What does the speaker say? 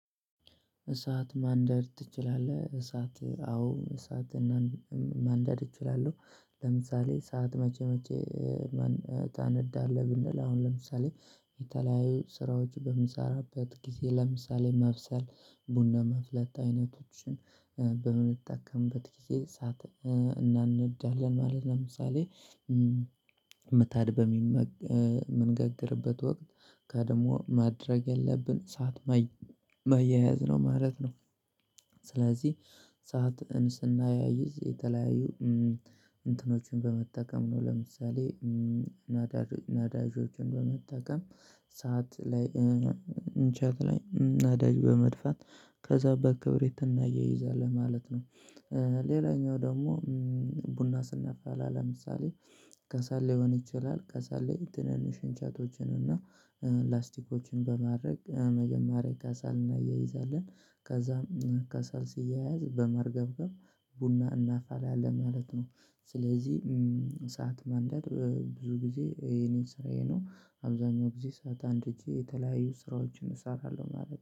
እሳት ማንደድ ትችላለህ? እሳት አዎ እሳትን ማንደድ እችላለሁ። ለምሳሌ እሳት መቼ መቼ ታነዳለህ ብንል አሁን ለምሳሌ የተለያዩ ስራዎች በምሰራበት ጊዜ ለምሳሌ መብሰል ቡና ማፍላት አይነቶችን በምንጠቀምበት ጊዜ እሳት እናነዳለን ማለት ለምሳሌ ምጣድ በምንጋግርበት ወቅት ቀድሞ ማድረግ ያለብን እሳት ማያያዝ ነው ማለት ነው። ስለዚህ እሳትን ስናያይዝ የተለያዩ እንትኖችን በመጠቀም ነው። ለምሳሌ ነዳጆችን በመጠቀም ሳት ላይ እንቸት ላይ ነዳጅ በመድፋት ከዛ በክብሪት እናያይይዛን ማለት ነው። ሌላኛው ደግሞ ቡና ስናፈላ ለምሳሌ ከሰል ሊሆን ይችላል። ከሰል ላይ ትንንሽ እንጨቶችን እና ላስቲኮችን በማድረግ መጀመሪያ ከሰል እናያይዛለን ከዛም ከሰል ሲያያዝ በማርገብገብ ቡና እናፈላለን ማለት ነው። ስለዚህ ሳት ማንደድ ብዙ ጊዜ የኔ ስራዬ ነው አብዛኛው ጊዜ ሳት አንድጄ የተለያዩ ስራዎችን እሰራለሁ ማለት ነው